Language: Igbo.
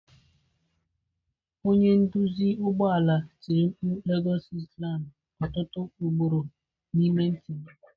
Onye nduzi ụgbọ ala tiri mkpu lagos lsland! Ọtụtụ ugboro N'ime ntị m.